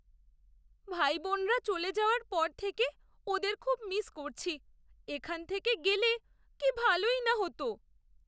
ভাইবোনরা চলে যাওয়ার পর থেকে ওদের খুব মিস করছি। এখানে থেকে গেলে কি ভালোই না হতো।